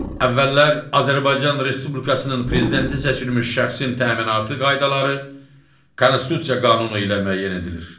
Əvvəllər Azərbaycan Respublikasının prezidenti seçilmiş şəxsin təminatı qaydaları Konstitusiya qanunu ilə müəyyən edilir.